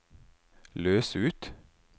løs ut